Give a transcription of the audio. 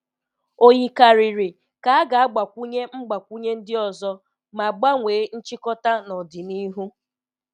O yikarịrị ka a ga-agbakwunye mgbakwunye ndị ọzọ ma gbanwee nchịkọta n'ọdịnihu.